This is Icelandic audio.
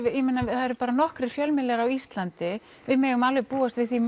eru bara nokkrir fjölmiðlar á Íslandi við megum alveg búast við því